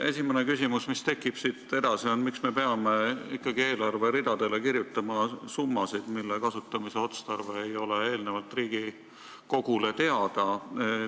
Esimene küsimus, mis mul tekkis, on see: miks me peame ikkagi eelarveridadele kirjutama summasid, mille kasutamise otstarve ei ole eelnevalt Riigikogule teada?